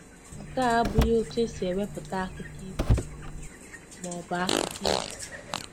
Nke a abụghị otú e si ewepụta akụkọ ifo ma ọ bụ akụkọ ifo.